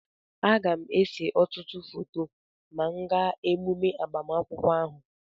Aga m ese ọtụtụ foto ma m gaa emume agbamakwụkwọ ahụ